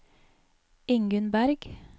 Ingunn Bergh